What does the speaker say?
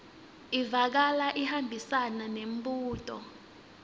ivakala ihambisana nembuto